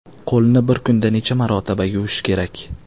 Qo‘lni bir kunda necha marotaba yuvish kerak?.